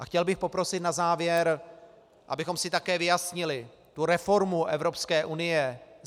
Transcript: A chtěl bych poprosit na závěr, abychom si také vyjasnili tu reformu Evropské unie.